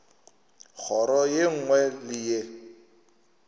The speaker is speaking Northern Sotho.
kgoro ye nngwe le ye